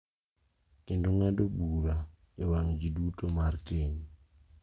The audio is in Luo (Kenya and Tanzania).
Kendo ng’ado bura e wang’ ji duto mar keny.